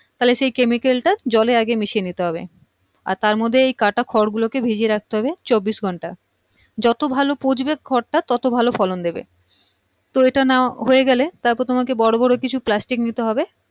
তাহলে সেই chemical টা জলে আগে মিশিয়ে নিতে হবে আর তার মধ্যে এই কাটা খড়গুলো কে ভিজিয়ে রাখতে হবে চব্বিশ ঘন্টা যত ভালো পচবে খড়টা তত ভালো ফলন দেবে তো এইটা নেয়া হয়েগেলে তো তোমায় বড়ো বড়ো কিছু plastic নিতে হবে